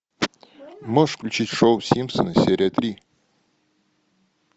можешь включить шоу симпсоны серия три